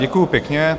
Děkuji pěkně.